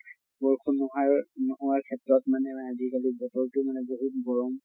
বৰষুণ নোহোৱাৰ নোহোৱাৰ ক্ষেত্ৰত মানে আজি কালি বতৰ টো মানে বহুত গৰম